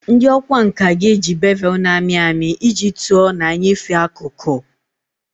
Ndị ọkwá nkà ga-eji bevel na-amị amị iji tụọ na nyefee akụkụ